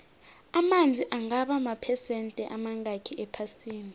amanzi angaba maphesende amangakhi ephasini